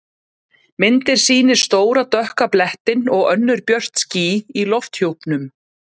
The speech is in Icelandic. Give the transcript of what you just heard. Myndin sýnir stóra dökka blettinn og önnur björt ský í lofthjúpnum.